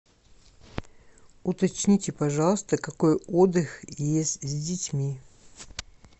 уточните пожалуйста какой отдых есть с детьми